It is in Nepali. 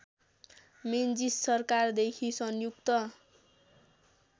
मेन्जिस सरकारदेखि संयुक्त